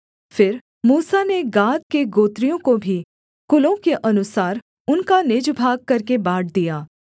फिर मूसा ने गाद के गोत्रियों को भी कुलों के अनुसार उनका निज भाग करके बाँट दिया